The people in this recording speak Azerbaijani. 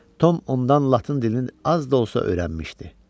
Tom ondan latın dilini az da olsa öyrənmişdi.